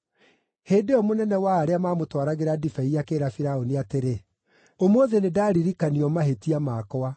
Hĩndĩ ĩyo mũnene wa arĩa maamũtwaragĩra ndibei akĩĩra Firaũni atĩrĩ, “Ũmũthĩ nĩndaririkanio mahĩtia makwa.